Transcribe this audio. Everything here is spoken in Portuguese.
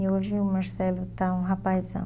E hoje o Marcelo está um rapazão.